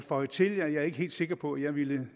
føje til at jeg ikke er helt sikker på at jeg ville